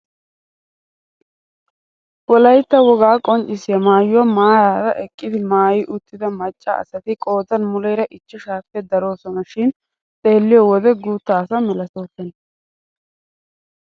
Wolaytta wogaa qonccisiyaa maayuwaa maarara eqqidi maayi uttida macca asati qoodan muleera ichchashshaappe daroosona shin xeelliyoo wode guutta asa milatoosona.